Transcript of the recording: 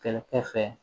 Kɛlɛkɛfɛ